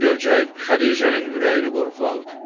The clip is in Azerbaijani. Bunu görcək, Xədicənin ürəyini qorxu aldı.